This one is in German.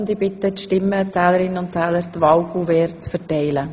Ich bitte die Stimmenzählerinnen und Stimmenzähler, die Wahlcouverts zu verteilen.